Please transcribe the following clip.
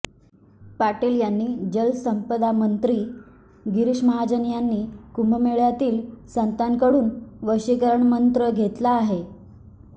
पाटील यांनी जलसंपदामंत्री गिरीश महाजन यांनी कुंभमेळ्यातील संतांकडून वशीकरण मंत्र घेतला आहे